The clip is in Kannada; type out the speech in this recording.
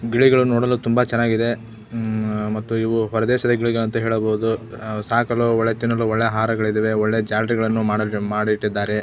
ಗಿಳಿಗಳು ನೋಡಲು ತುಂಬಾ ಚನ್ನಾಗಿದೆ ಉಹ್ ಮತ್ತು ಇವು ಹೊರದೇಶದ ಗಿಳಿಗಳು ಅಂತ ಹೇಳಬಹುದು ಸಾಕಲು ಒಳ್ಳೆ ತಿನ್ನಲು ಒಳ್ಳೆ ಆಹಾರಗಳಿದವೆ ಒಳ್ಳೆ ಜಾಲರಿಗಳನ್ನು ಮಾಡಿ ಮಾಡಿಟ್ಟಿದ್ದಾರೆ .